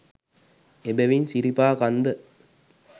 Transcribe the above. එබැවින් සිරිපා කන්ද